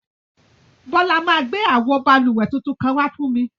Bola ma gbẹ awo bálúwẹ̀ tuntun kan wà fún mi.